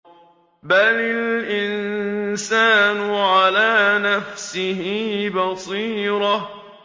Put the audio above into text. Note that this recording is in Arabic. بَلِ الْإِنسَانُ عَلَىٰ نَفْسِهِ بَصِيرَةٌ